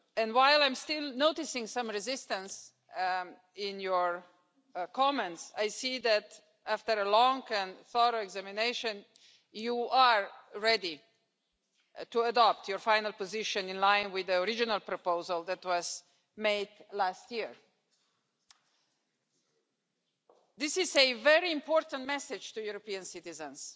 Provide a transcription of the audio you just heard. While I am still noticing some resistance in your comments, I see that after a long and thorough examination, you are ready to adopt your final position in line with the original proposal that was made last year. This is a very important message to European citizens